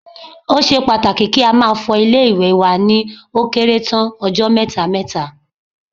Ó ṣe pàtàkì kí a máa fọ ilé-ìwẹ̀ wa ni ó kéré tán ọjọ́ mẹ́ta mẹ́ta